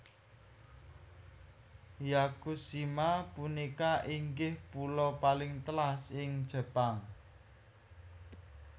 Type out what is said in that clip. Yakushima punika inggih pulo paling telas ing Jepang